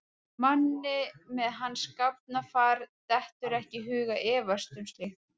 Manni með hans gáfnafar dettur ekki í hug að efast um slíkt.